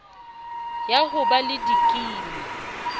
ya ho ba le dikimi